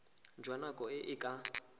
jwa nako e e ka